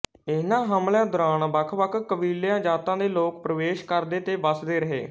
ਇਹਨਾਂ ਹਮਲਿਆਂ ਦੌਰਾਨ ਵੱਖਵੱਖ ਕਬੀਲਿਆਂ ਜਾਤਾਂ ਦੇ ਲੋਕ ਪ੍ਰਵੇਸ਼ ਕਰਦੇ ਤੇ ਵਸਦੇ ਰਹੇ